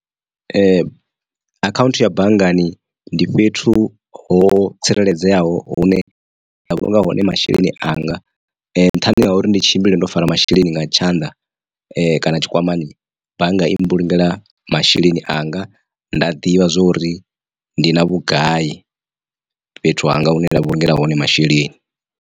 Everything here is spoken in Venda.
Akhaunthu ya banngani ndi fhethu ho tsireledzeaho hune nda vhulunga hone masheleni anga nṱhani ha uri ndi tshimbile ndo fara masheleni nga tshanḓa kana tshikwamani bannga i mbulungela masheleni anga nda ḓivha zwori ndi na vhugai fhethu hanga hune nda vhulungela hone masheleni.